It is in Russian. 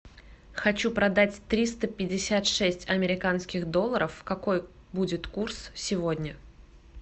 хочу продать триста пятьдесят шесть американских долларов какой будет курс сегодня